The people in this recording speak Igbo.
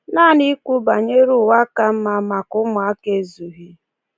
Naanị ikwu banyere ụwa ka mma maka ụmụaka ezughị.